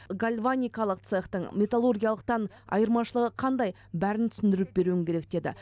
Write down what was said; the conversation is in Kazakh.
гальваникалық цехтың металлургиялықтан айырмашылығы қандай бәрін түсіндіріп беруің керек деді